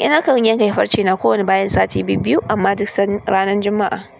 Nakan yanke farce na ko wane bayan sati biyu-biyu amma duk san ranan Juma'a.